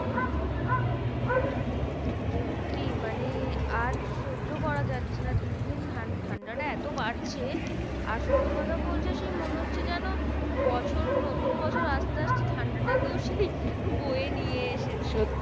সত্যি মানে আর সহ্য করা যাচ্ছে না দিন দিন ঠান্ডাটা এত বাড়ছে। আর সত্যি কথা বলতে সেই মনে হচ্ছে যেন, বছর নতুন বছর আসতে আসতে ঠান্ডাটা এত বেশি বয়ে নিয়ে এসেছে।